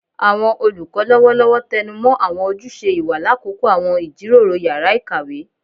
Awọn olukọ lọwọlọwọ tẹnumọ awọn ojuse iwa lakoko awọn ijiroro yara ikawe